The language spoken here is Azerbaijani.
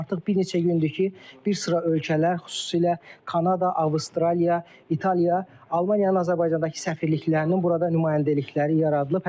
Artıq bir neçə gündür ki, bir sıra ölkələr, xüsusilə Kanada, Avstraliya, İtaliya, Almaniyanın Azərbaycandakı səfirliklərinin burada nümayəndəlikləri yaradılıb.